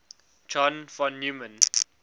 john von neumann